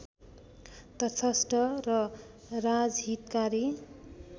तटस्थ र राजहितकारी